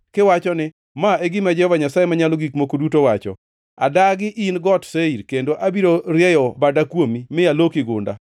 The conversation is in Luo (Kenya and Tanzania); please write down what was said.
kiwacho ni: ‘Ma e gima Jehova Nyasaye Manyalo Gik Moko Duto wacho: Adagi in Got Seir, kendo abiro rieyo bada kuomi mi aloki gunda.